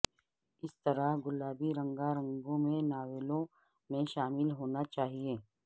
اس طرح گلابی رنگا رنگوں میں ناولوں میں شامل ہونا چاہئے